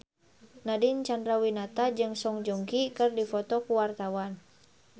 Nadine Chandrawinata jeung Song Joong Ki keur dipoto ku wartawan